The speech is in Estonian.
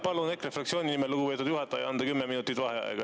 Palun EKRE fraktsiooni nimel, lugupeetud juhataja, anda 10 minutit vaheaega.